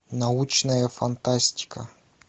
научная фантастика